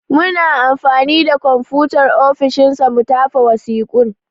Muna anfani da konfutar ofishin sa mu tafa wasiƙun.